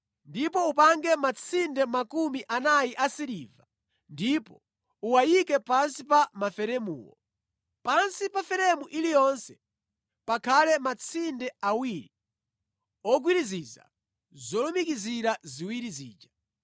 Ndipo upange matsinde 40 asiliva ndipo uwayike pansi pa maferemuwo. Pansi pa feremu iliyonse pakhale matsinde awiri ogwiriziza zolumikizira ziwiri zija.